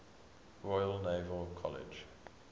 royal naval college